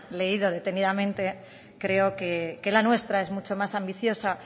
leído detenidamente creo que la nuestra es mucho más ambiciosa